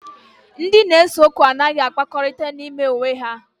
Ndị na-ese okwu anaghị akpakọrịta n'ime onwe ha